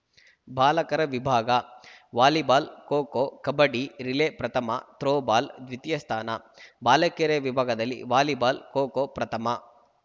ಬಾಲಕರ ವಿಭಾಗ volleyball kho kho kabaddi relay ಪ್ರಥಮ ಥ್ರೋ ಬಾಲ್‌ ದ್ವಿತೀಯ ಸ್ಥಾನ ಬಾಲಕಿಯರ ವಿಭಾಗದಲ್ಲಿ ವಾಲಿಬಾಲ್‌ ಖೋ ಖೋ ಪ್ರಥಮ